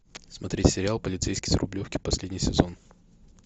смотреть сериал полицейский с рублевки последний сезон